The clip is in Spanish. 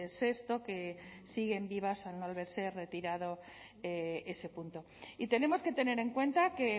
sexto que siguen vivas al no haberse retirado ese punto y tenemos que tener en cuenta que